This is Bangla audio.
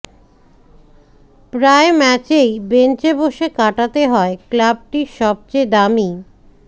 প্রায় ম্যাচেই বেঞ্চে বসে কাটাতে হয় ক্লাবটির সবচেয়ে দামি